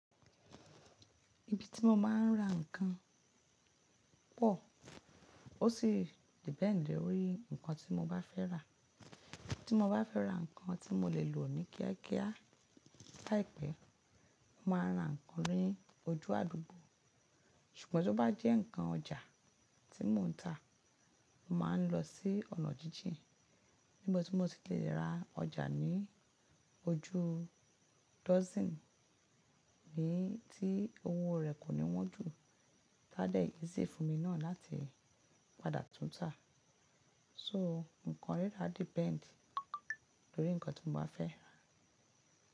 Ibi tí mo máa ń ra ǹnkan pò. Ó sì depend lórí ǹnkan tí mo bá fẹ́ rà. Tí mo bá fẹ́ ra ǹnkan tí mo lè lò ní kíá kíá láìpẹ́, mo máa ń ra ǹnkan ni ojú àdúgbò. Ṣùgbọ́n tó bá jẹ́ ǹnkan ọjà tí mò ń tà, mó máa ń lọ sí ọ̀nà jíjìn. Níbo tí mo ti lè ra ọjà ní ojú dozen, ní tí owó rẹ̀ kò ní wọ́n jù. Ta de easy fún mi náà láti padà tún tà. So, ǹnkan rírà depend lórí ǹnkan tí mo bá fẹ́.